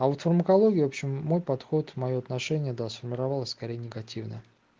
а вот фармакология общем мой подход моё отношение до сформировалась скорее негативно